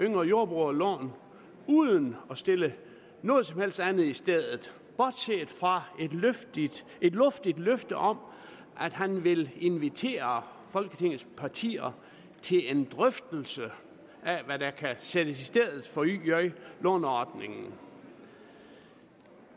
yngre jordbrugere uden at sætte noget som helst andet i stedet bortset fra et luftigt løfte om at han vil invitere folketingets partier til en drøftelse af hvad der kan sættes i stedet for yj låneordningen